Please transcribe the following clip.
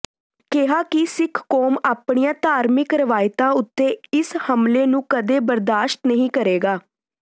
ਕਿਹਾ ਕਿ ਸਿੱਖ ਕੌਮ ਆਪਣੀਆਂ ਧਾਰਮਿਕ ਰਵਾਇਤਾਂ ਉੱੇਤੇ ਇਸ ਹਮਲੇ ਨੂੰ ਕਦੇ ਬਰਦਾਸ਼ਤ ਨਹੀਂ ਕਰੇਗਾ